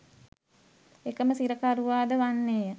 එකම සිරකරුවාද වන්නේය